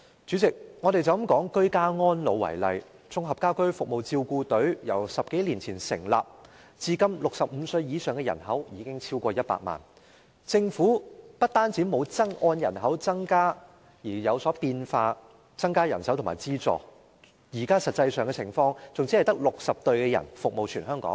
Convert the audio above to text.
主席，單以居家安老為例，綜合家居服務照顧隊由10多年前成立至今 ，65 歲以上的人口已超過100萬，政府不但沒有按人口增加而作出轉變，增加人手和資助，現在實際情況甚至是只有60支照顧隊服務全香港。